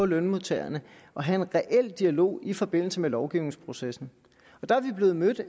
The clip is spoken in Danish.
lønmodtagerne og have en reel dialog i forbindelse med lovgivningsprocessen der er vi blevet mødt